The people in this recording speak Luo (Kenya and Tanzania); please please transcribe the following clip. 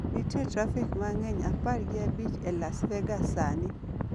Nitie trafik mang'eny e apar gi abich e Las Vegas sani